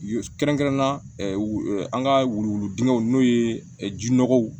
Kɛrɛnkɛrɛnnenya la an ka wuluwulu dingɛw n'o ye jinɔgɔw